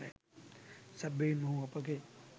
සැබවින්ම ඔහු අපගේ